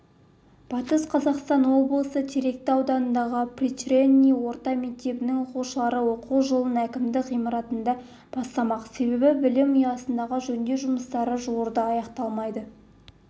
батыс қазақстан облысы теректі ауданындағы приречный орта мектебінің оқушылары оқу жылын әкімдік ғимаратында бастамақ себебі білім ұясындағы жөндеу жұмыстары жуырда аяқталмайды